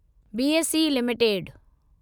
BSE limited